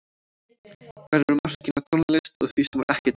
Hvar eru mörkin á tónlist og því sem er ekki tónlist?